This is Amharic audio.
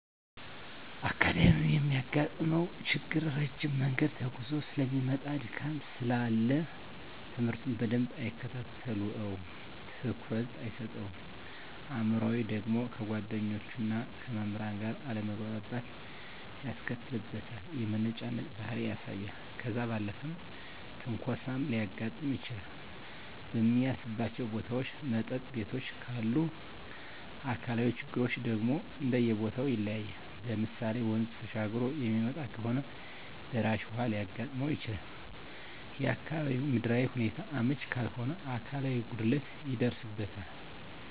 አካዳሚካያዊ የሚያጋጥመው ችግር ረጅም መንገድ ተጉዞ ሰለሚመጣ ድካም ስላለ ትምህርቱን በደንብ አይከታተለውም ትኩረት አይሰጠውም። አእምሯዊ ደግሞ ከጓደኞቹና ከመምህራን ጋር አለመግባባት ያስከትልበታል የመነጫነጭ ባህሪ ያሳያል። ከዛ ባለፈም ትንኮሳም ሊያጋጥም ይችላል በሚያልፍባቸው ቦታዎች መጠጥ ቤቶችም ካሉ። አካላዊ ችግሮች ደግሞ እንደየቦተው ይለያያል ለምሳሌ ወንዝ ተሻግሮ የሚመጣ ከሆነ ደራሽ ውሀ ሊያጋጥመው ይችላል፣ የአካባቢው ምድራዊ ሁኔታው አመች ካልሆነ አካላዊ ጉድለት ይደርስበታል።